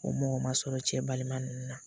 O mɔgɔ ma sɔrɔ cɛ balima ninnu na